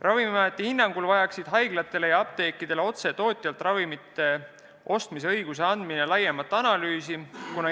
Ravimiameti hinnangul vajaks haiglatele ja apteekidele otse tootjalt ravimite ostmise õiguse andmine laiemat analüüsi.